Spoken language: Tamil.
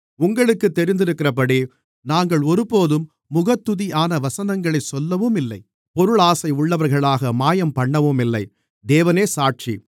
உங்களுக்குத் தெரிந்திருக்கிறபடி நாங்கள் ஒருபோதும் முகத்துதியான வசனங்களைச் சொல்லவுமில்லை பொருளாசையுள்ளவர்களாக மாயம்பண்ணவும் இல்லை தேவனே சாட்சி